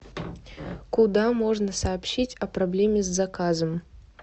куда можно сообщить о проблеме с заказом